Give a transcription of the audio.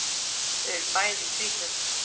Þau eru bæði um tvítugt.